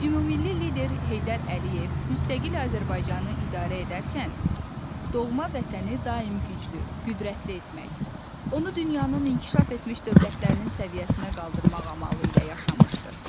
Ümummilli lider Heydər Əliyev müstəqil Azərbaycanı idarə edərken doğma vətəni daim güclü, qüdrətli etmək, onu dünyanın inkişaf etmiş dövlətlərinin səviyyəsinə qaldırmaq amalı ilə yaşamışdır.